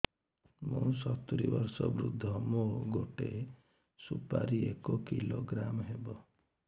ମୁଁ ସତୂରୀ ବର୍ଷ ବୃଦ୍ଧ ମୋ ଗୋଟେ ସୁପାରି ଏକ କିଲୋଗ୍ରାମ ହେବ